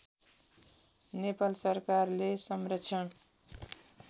नेपाल सरकारले संरक्षण